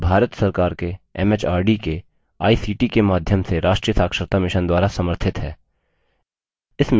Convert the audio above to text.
यह भारत सरकार के एमएचआरडी के आईसीटी के माध्यम से राष्ट्रीय साक्षरता mission द्वारा समर्थित है